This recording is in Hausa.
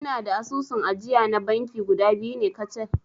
Ina da asusun ajiya na banki guda biyu ne kacal